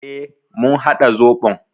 E, mun haɗa zoɓon.